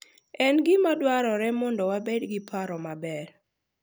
En gima dwarore mondo wabed gi paro maber.